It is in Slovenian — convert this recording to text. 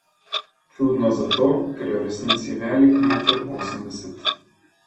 Čudno zato, ker je v resnici velik meter osemdeset.